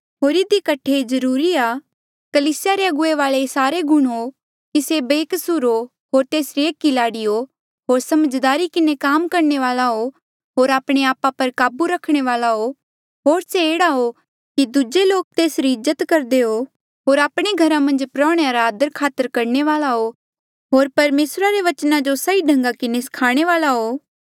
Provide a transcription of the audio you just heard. होर इधी कठे ये जरूरी आ कि कलीसिया रे अगुवे वाले ये सारे गुण होकि से बेकसूर हो होर तेसरी एक ई लाड़ी हो होर समझदारी किन्हें काम करणे वाल्आ होर आपणे आपा पर काबू रखणे वाल्आ हो होर से एह्ड़ा हो कि दूजे लोक तेसरी इज्जत करदे हो होर आपणे घरा मन्झ प्रोहणेया रा आदरखातर करणे वाल्आ होर परमेसरा रे वचना जो सही ढंगा किन्हें स्खाणे वाल्आ हो